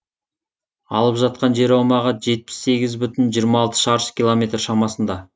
алып жатқан жер аумағы жетпіс сегіз бүтін жиырама алты шаршы километр шамасында